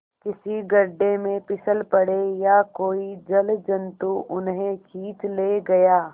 किसी गढ़े में फिसल पड़े या कोई जलजंतु उन्हें खींच ले गया